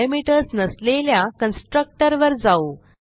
आता पॅरामीटर्स नसलेल्या कन्स्ट्रक्टर वर जाऊ